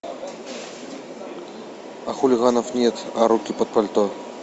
а хулиганов нет а руки под пальто